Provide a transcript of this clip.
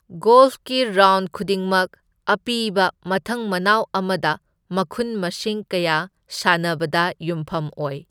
ꯒꯣꯜꯐꯀꯤ round ꯈꯨꯗꯤꯡꯃꯛ ꯑꯄꯤꯕ ꯃꯊꯪ ꯃꯅꯥꯎ ꯑꯃꯗ ꯃꯈꯨꯟ ꯃꯁꯤꯡ ꯀꯌꯥ ꯁꯥꯟꯅꯕꯗ ꯌꯨꯝꯐꯝ ꯑꯣꯏ꯫